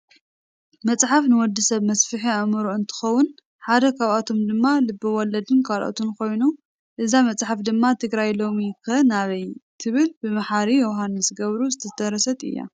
መፅሓፍ ንወዲ ሰብ መስፍሒ ኣእምሮ እንትከውን ሓደ ካብኣቶም ድማ ልበ ወለድን ካልኦትን ኮይኑ እዛ መፃሓፍ ድማ ትግራይ ሎሚ ከ ናበይ? ትብል ብማሓሪ ዮውሃንስ ገብሩ ዝተደረሰት እያ።